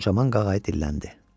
Çaman qağayı dilləndi.